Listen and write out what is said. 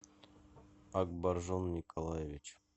акбаржон николаевич